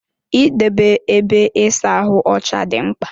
Idebe ébé ịsa ahụ ọcha dị mkpa.